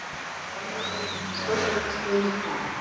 Þar með lauk stórveldisdraumum Dana.